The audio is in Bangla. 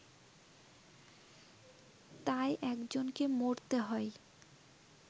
তাই একজনকে মরতে হয়